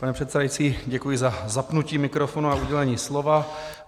Pane předsedající, děkuji za zapnutí mikrofonu a udělení slova.